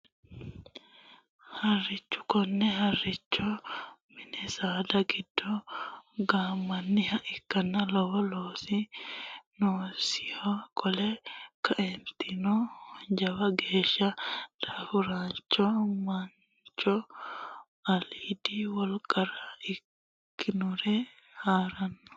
Harichcho kone harichcho mini saada giddo gaamaniha ikanna lowo loosi noosiho qole kaentino jawa geesha daafuranchoho manaho aliidi wolqara ikinore harano.